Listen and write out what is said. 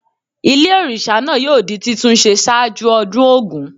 Ilé òrìsà náà yóò di títún se sáájú ọdún Ògún